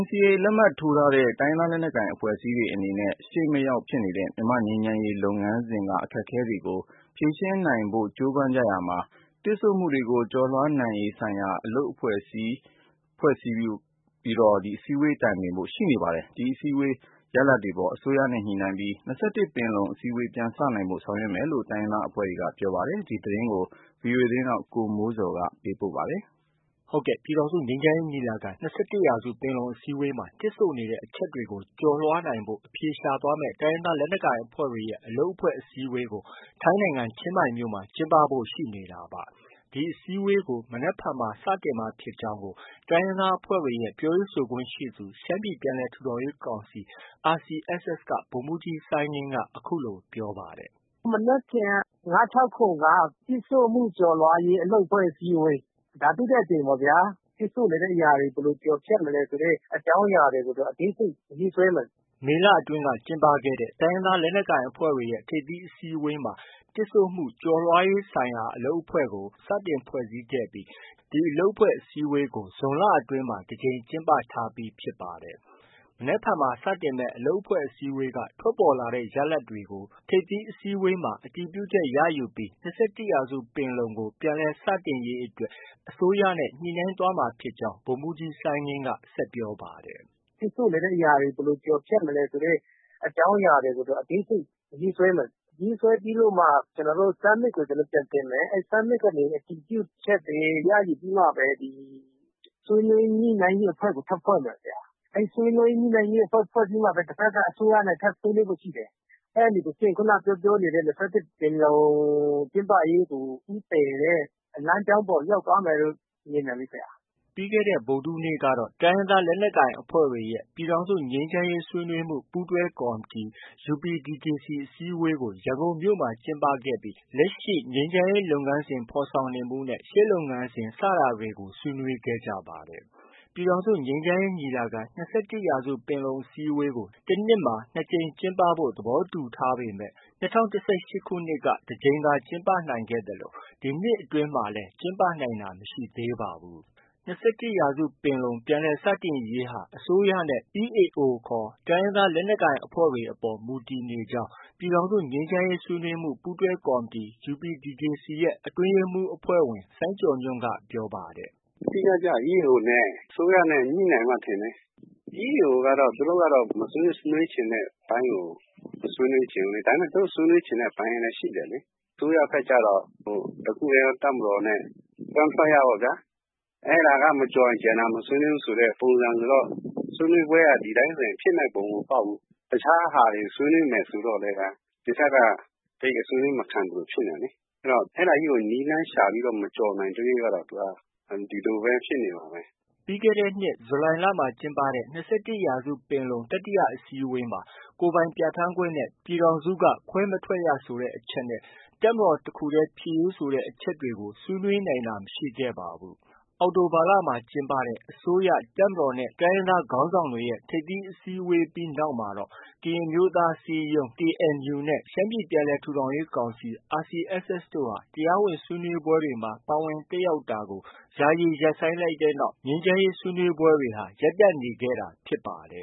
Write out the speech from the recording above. NCA လက်မှတ်ထိုးထားတဲ့ တိုင်းရင်းသားလက်နက်ကိုင်အဖွဲ့အစည်းတွေအနေနဲ့ ရှေ့မရောက်ဖြစ်နေတဲ့ မြန်မာ့ငြိမ်းချမ်းရေးလုပ်ငန်းစဉ်က အခက်အခဲတွေကို ဖြေရှင်းနိုင်ဖို့ ကြိုးပမ်းနေကြရာမှာ၊ တစ်ဆို့မှုကျော်လွှားရေးဆိုင်ရာအလုပ်အဖွဲ့အစည်းဆိုပြီး စည်းဝေးတိုင်ပင်ဖို့ရှိနေပါတယ်။ ဒီ အစည်းအဝေး ရလဒ်တွေအပေါ် အစိုးရနဲ့ ညှိပြီး ၂၁ ပင်လုံအစည်းအဝေး ပြန်စနိုင်ဖို့ ဆောင်ရွက်မယ်လို့ တိုင်းရင်းသားအဖွဲ့တွေက ပြောပါတယ်။ ဒီသတင်းကိုတော့ ဗွီအိုအေမြန်မာပိုင်းရဲ့ သတင်းထောက် ကိုမိုးဇော်က တင်ပြထားပါတယ်။ ပြည်ထောင်စုငြိမ်းချမ်းရေးညီလာခံ- ၂၁ရာစုပင်လုံအစည်းအဝေးမှာ တစ်ဆို့နေတဲ့ အချက်တွေကို ကျော်လွှားနိုင်ဖို့ အဖြေရှာသွားမယ့် တိုင်းရင်းသားလက်နက်ကိုင်အဖွဲ့တွေရဲ့ အလုပ်အဖွဲ့ အစည်းအဝေးကို ထိုင်းနိုင်ငံ ချင်းမိုင်မြို့မှာ ကျင်းပဖို့ ရှိနေတာပါ။ ဒီအစည်းအဝေးကို မနက်ဖြန်မှာ စတင်မှာဖြစ်ကြောင်းကို တိုင်းရင်းသားအဖွဲ့တွေရဲ့ ပြောရေးဆိုခွင့်ရှိသူ၊ရှမ်းပြည်ပြန်လည်ထူထောင်ရေးကောင်စီ RCSS က ဗိုလ်မှုးကြီး စိုင်းငင်းက အခုလို ပြောပါတယ်။ “ မနက်ဖြန် ၅-၆-၇ က တစ်ဆို့မှုကျော်လွှားရေး အလုပ်အဖွဲ့အစည်းဝေး။ ဒါ ဒုတိယအကြိမ်ပေါ့ဗျာ။ တစ်ဆို့နေတဲ့အရာတွေ ဘယ်လို ကျော်ဖြတ်မလဲ ဆိုတဲ့ အကြောင်းအရာကို အသေးစိတ်ရေးဆွဲမယ်။” မေလအတွင်းက ကျင်းပတဲ့ တိုင်းရင်းသားလက်နက်ကိုင်အဖွဲ့တွေရဲ့ ထိပ်သီးအစည်းအဝေးမှာ တစ်ဆို့မှု ကျော်လွှားရေးဆိုင်ရာအလုပ်အဖွဲ့ကို စတင် ဖွဲ့စည်းပြီး ဒီအလုပ်အဖွဲ့အစည်းအဝေးတွေကို ဇွန်လအတွင်းမှာ တစ်ကြိမ်ကျင်းပထားပြီးဖြစ်ပါတယ်။ မနက်ဖြန်မှာ စတင်မယ့် အလုပ်အဖွဲ့အစည်းအဝေးက ထွက်ပေါ်လာတဲ့ ရလဒ်တွေကို ထိပ်သီးအစည်းအဝေးမှာ အတည်ပြုချက်ရယူပြီး ၂၁ရာစုပင်လုံကို ပြန်လည်စတင်ရေးအတွက် အစိုးရနဲ့ ညှိနှိုင်းသွားမှာဖြစ်ကြောင်း ဗိုလ်မှုးကြီး စိုင်းငင်းက ဆက်ပြောပါတယ်။ “တစ်ဆို့နေတဲ့အရာတွေ ဘယ်လို ကျော်ဖြတ်မလဲ ဆိုတဲ့ အကြောင်းအရာကို အသေးစိတ်ရေးဆွဲမယ်။ ရေးဆွဲပြီးတော့မှ summit ကို ပြန်တင်မယ်။ summit ကနေ အတည်ပြုချက်တွေ ရယူပြီးမှပဲ ဆွေးနွေးညှိနှိုင်းရေးအဖွဲ့ကို ထပ်ဖွဲ့မယ်။ အဲဒီ ဆွေးနွေးညှိနှိုင်းရေးအဖွဲ့ဖွဲ့ပြီးမှပဲ တဘက်က အစိုးရနဲ့ ညှိနှိုင်းဖို့ ရှိတယ်။ အဲဒီတစ်ဆင့် ခုနက ပြောပြောနေတဲ့ ၂၁ပင်လုံ ကျင်းပရေးကို ဦးတည်တဲ့ လမ်းကြောင်းပေါ်ကို ရောက်သွားမယ်ထင်တယ်။ ” ပြီးခဲ့တဲ့ ဗုဒ္ဓဟူးနေ့ကတော့ တိုင်းရင်းသားလက်နက်ကိုင်အဖွဲ့တွေရဲ့ ပြည်ထောင်စု ငြိမ်းချမ်းရေးဆွေးနွေးမှု ပူးတွဲကော်မတီ UPDJC အစည်းအဝေးကို ရန်ကုန်မြို့မှာ ကျင်းပခဲ့ပြီး လက်ရှိ ငြိမ်းချမ်းရေးလုပ်ငန်းစဉ်ဖော်ဆောင်နေမှုနဲ့ ရှေ့လုပ်ငန်းစဉ် စတာတွေကို ဆွေးနွေးခဲ့ကြပါတယ်။ ပြည်ထောင်စုငြိမ်းချမ်းရေးညီလာခံ-၂၁ရာစုပင်လုံအစည်းဝေးကို တနှစ်မှာ ၂ကြိမ်ကျင်းပဖို့ သဘောတူထားပေမဲ့ ၂၀၁၈ခုနှစ်က တစ်ကြိမ်သာကျင်းပ နိုင်ခဲ့သလို ဒီနှစ်အတွင်းမှာတော့ ကျင်းပနိုင်တာမရှိသေးပါဘူး။ ၂၁ရာစုပင်လုံ ပြန်လည်စတင်နိုင်ရေးဟာ အစိုးရနဲ့ EAO ခေါ် တိုင်းရင်းသားလက်နက်ကိုင်အဖွဲ့တွေအပေါ် မူတည်နေကြောင်း ပြည်ထောင်စုငြိမ်းချမ်းရေးဆွေးနွေးမှု ပူးတွဲကော်မတီ UPDJC အတွင်းရေးမှူးအဖဲ့ွဝင် စိုင်းကျော်ညွှန့်က ပြောပါတယ်။ “ အဓိက ကျတာ EAO နဲ့ အစိုးရ ညှိနိုင်မှ ထင်တယ်။ EAO ကတော့ သူတို့ကတော့ မဆွေးနွေးချင်တဲ့အပိုင်းကို မဆွေးနွေးချင်ဘူးလေ။ ဒါပေမဲ့ သူတို့ ဆွေးနွေးချင်တဲ့ ပိုင်းလည်း ရှိတယ်လေ။ အစိုးရဘက်ကျတော့ တစ်ခုတည်းသော တပ်မတော်နဲ့ ခွဲမထွက်ရပေါ့ဗျာ။ အဲဒါက မကျော်ရင် မဆွေးနွေးဘူးဆိုတဲ့ ပုံစံဆိုတော့ ဆွေးနွေးပွဲက ဒီအတိုင်းဆို ဖြစ်မယ့် ပုံမပေါက်ဘူး။ တစ်ခြားဟာတွေ ဆွေးနွေးမယ် ဆိုတော့လည်း ဒီဘက်က ဆွေးနွေးမခံသလို ဖြစ်နေတာလေ။ အဲတော့ အဲဒါကြီးကို နည်းလမ်းရှာပြီး မကျော်နိုင်သ၍ကတော့ သူက ဒီလိုပဲ ဖြစ်နေမှာပဲ။ ” ပြီးခဲ့တဲ့နှစ် ဇူလိုင်လမှာ ကျင်းပတဲ့ ၂၁ရာစုပင်လုံ တတိယအစည်းအဝေးမှာ ကိုယ်ပိုင်ပြဌာန်းခွင့်နဲ့ ပြည်ထောင်စုက ခွဲမထွက်ရဆိုတဲ့ အချက်နဲ့ တပ်မတော်တခုတည်းဖြစ်ရေးဆိုတဲ့အချက်တွေကို ဆွေးနွေးနိုင်တာ မရှိခဲ့ပါဘူး။ အောက်တိုဘာလမှာ ကျင်းပတဲ့ အစိုးရ၊ တပ်မတော်နဲ့ တိုင်းရင်းသားခေါင်းဆောင်တွေရဲ့ ထိပ်သီးဆွေးနွေးပွဲပြီးနောက်မှာတော့ ကရင်အမျိုးသားအစည်းအရုံး KNU နဲ့ ရှမ်းပြည်ပြန်လည်ထူထောင်ရေးကောင်စီ RCSS တို့ တရားဝင်ဆွေးနွေးပွဲတွေမှာ ပါဝင်တက်ရောက်တာကို ယာယီရပ်ဆိုင်းလိုက်တဲ့နောက်မှာ ဆွေးနွေးပွဲတွေဟာ ရပ်တန့်နေခဲ့တာဖြစ်ပါတယ